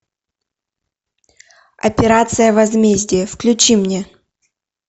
операция возмездие включи мне